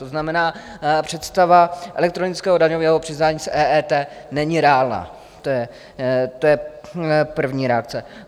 To znamená, představa elektronického daňového přiznání z EET není reálná, to je první reakce.